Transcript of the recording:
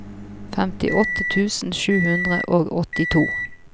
femtiåtte tusen sju hundre og åttito